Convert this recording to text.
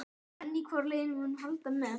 En hvoru liðinu mun hún halda með?